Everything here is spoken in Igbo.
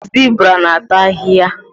Zibra na ata ahịhịa